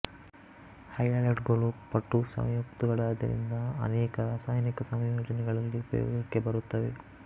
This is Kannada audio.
ಹ್ಯಾಲೈಡುಗಳು ಪಟು ಸಂಯುಕ್ತಗಳಾದ್ದರಿಂದ ಆನೇಕ ರಾಸಾಯನಿಕ ಸಂಯೋಜನೆಗಳಲ್ಲಿ ಉಪಯೋಗಕ್ಕೆ ಬರುತ್ತವೆ